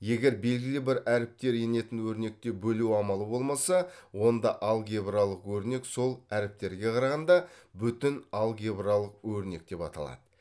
егер белгілі бір әріптер енетін өрнекте бөлу амалы болмаса онда алгебралық өрнек сол әріптерге қарағанда бүтін алгебралық өрнек деп аталады